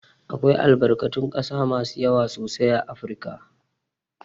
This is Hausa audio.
Akwai albarkatun ƙasa masu yawa sosai a Afirika.